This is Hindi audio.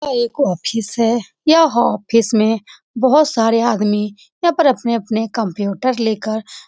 यह एक ऑफिस है यह हो ऑफिस मे बहुत सारे आदमी यहां पर अपने-अपने कंप्यूटर लेकर --